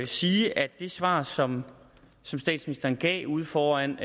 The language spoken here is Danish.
sige at det svar som statsministeren gav ude foran